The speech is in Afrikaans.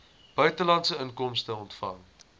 buitelandse inkomste ontvang